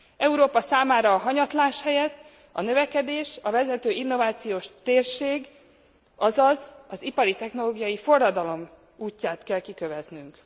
Európa számára a hanyatlás helyett a növekedés, a vezető innovációs térség, azaz ipari, technológiai forradalom útját kell kiköveznünk.